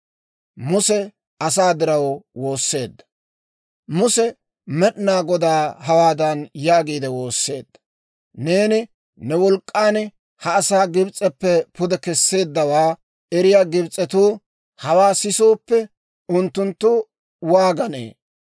Muse Med'inaa Godaa hawaadan yaagiide woosseedda; «Neeni ne wolk'k'an ha asaa Gibs'eppe pude kesseeddawaa eriyaa Gibs'etuu hawaa sisooppe, unttunttu waaganee?